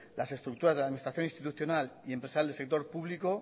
las estructuras de la administración institucional y empresarial del sector público